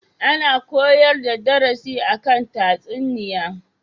Ana koyar da darasi a kan tatsuniya.